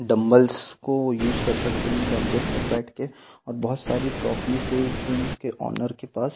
dumbbells को use कर सकते हैं इन बेंचेस पर बैठ के और बहुत सारी ट्रॉफी से इस टीम के ओनर के पास--